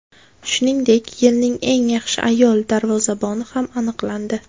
Shuningdek, yilning eng yaxshi ayol darvozaboni ham aniqlandi.